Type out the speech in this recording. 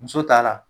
Muso ta la